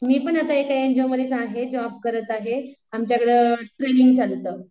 मी पण आता एका एनजीओमध्येच आहे जॉब करत आहे. ,आमच्याकडं ट्रेनिंग चालू होतं.